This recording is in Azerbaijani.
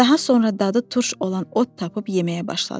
Daha sonra dadı turş olan ot tapıb yeməyə başladı.